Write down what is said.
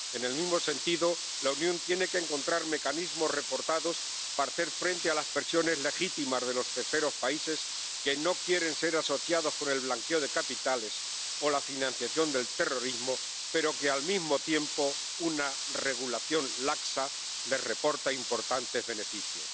En el mismo sentido, la Unión tiene que encontrar mecanismos reforzados para hacer frente a las presiones legítimas de los terceros países que no quieren ser asociados con el blanqueo de capitales o la financiación del terrorismo, pero a los que, al mismo tiempo, una regulación laxa les reporta importantes beneficios.